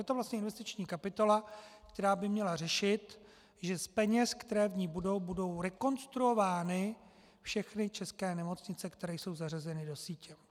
Je to vlastně investiční kapitola, která by měla řešit, že z peněz, které v ní budou, budou rekonstruovány všechny české nemocnice, které jsou zařazeny do sítě.